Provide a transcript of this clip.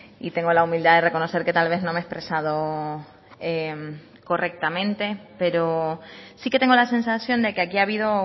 y tengo la humildad de reconocer que tal vez no me he expresado correctamente pero sí que tengo la sensación de que aquí ha habido